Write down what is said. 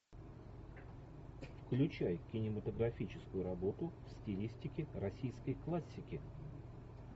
включай кинематографическую работу в стилистике российской классики